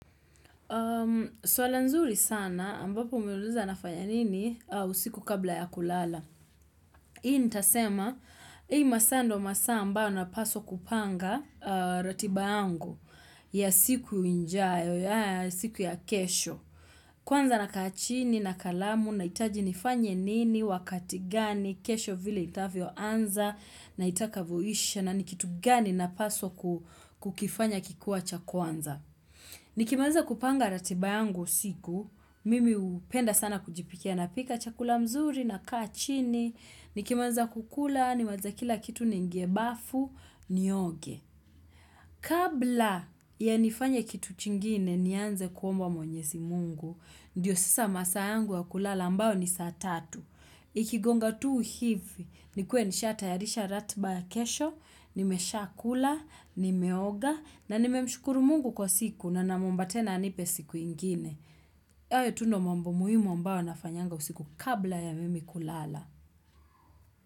Suala nzuri sana ambapo umeuliza nafanya nini usiku kabla ya kulala. Hii nitasema hii masaa ndo masaa ambayo napaswa kupanga ratiba yangu ya siku ijayo ya siku ya kesho. Kwanza nakaa chini na kalamu nahitaji nifanye nini wakati gani kesho vile itavyo anza na itakavoisha na ni kitu gani napaswa kukifanya kikiwa cha kwanza. Nikimaliza kupanga ratiba yangu usiku, mimi hupenda sana kujipikia napika chakula mzuri nakaa chini, nikimaliza kukula, nimalize kila kitu niingie bafu, nioge. Kabla ya nifanye kitu chingine nianze kuomba mwenyezi mungu Ndiyo sasa masaa yangu wa kulala ambayo ni saa tatu Ikigonga tu hivi nikuwe nisha tayarisha ratiba ya kesho Nimeshakula, nimeoga na nimemshukuru mungu kwa siku na namwomba tena anipe siku ingine hayo tu ndo mambo muhimu ambayo nafanyanga usiku kabla ya mimi kulala.